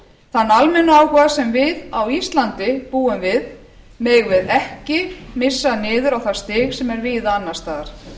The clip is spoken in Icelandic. þann almenna áhuga sem við á íslandi búum við megum við ekki missa niður á það stig sem er víða annars staðar